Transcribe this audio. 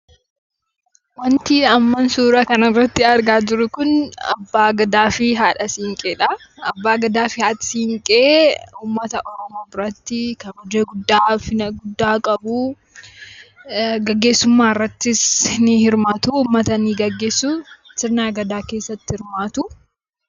Wanti an amma suuraa kana irratti argaa jiru kun Abbaa Gadaa fi Haadha Siinqeedha. Abbaa Gadaa fi Haati Siinqee uummata Oromoo biratti kabaja guddaa, ulfina guddaa qabu. Gaggeessummaa irrattis ni hirmaatu. Uummata ni gaggeessu. Sirna Gadaa keessatti hirmaatu.